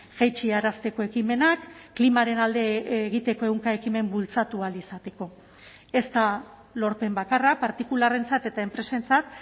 jaitsi arazteko ekimenak klimaren alde egiteko ehunka ekimen bultzatu ahal izateko ez da lorpen bakarra partikularrentzat eta enpresentzat